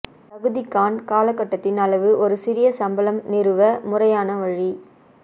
தகுதிகாண் காலகட்டத்தின் அளவு ஒரு சிறிய சம்பளம் நிறுவ முறையான வழி